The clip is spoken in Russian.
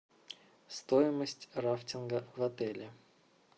стоимость рафтинга в отеле